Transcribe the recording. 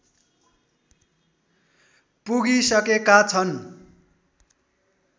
पुगिसकेका छन्